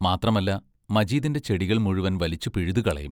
മാത്രമല്ല, മജീദിന്റെ ചെടികൾ മുഴുവൻ വലിച്ചു പിഴുതുകളയും.